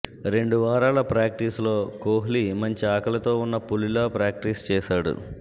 రెండు వారాల ప్రాక్టీస్లో కోహ్లి మంచి ఆకలితో ఉన్న పులిలా ప్రాక్టీస్ చేశాడు